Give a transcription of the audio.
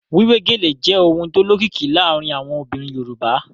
Wíwé gèlè jẹ́ ohun tó lókìkí láàárín àwọn obìnrin Yorùbá